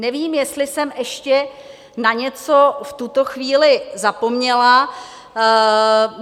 Nevím, jestli jsem ještě na něco v tuto chvíli zapomněla.